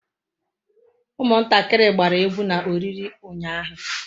Umuntakiri gbara egwu na oriri unyahu